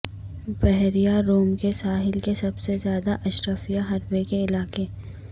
بحیرہ روم کے ساحل کے سب سے زیادہ اشرافیہ حربے کے علاقے